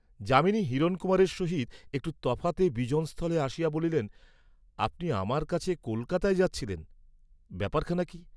যামিনী হিরণকুমারের সহিত একটু তফাতে বিজন স্থলে আসিয়া বলিলেন আপনি আমার কাছে কলকাতায় যাচ্ছিলেন, ব্যাপারখানা কি!